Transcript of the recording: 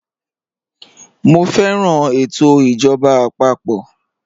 Mọ fẹran ètò ijọba àpapọ̀.